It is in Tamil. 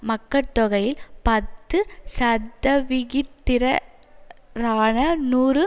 மக்கட்தொகையில் பத்து சதவிகிதத்திரரான நூறு